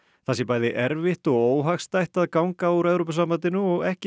það sé bæði erfitt og óhagstætt að ganga úr Evrópusambandinu og ekki